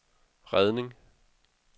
redning